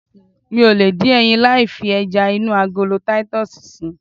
Mi ò lè dín ẹyin láì fi ẹja inú agolo titus si